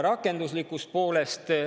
Rakenduslikust poolest.